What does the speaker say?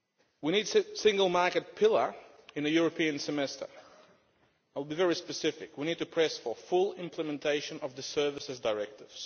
We need a single market pillar in the European Semester. I will be very specific we need to press for full implementation of the Services Directive.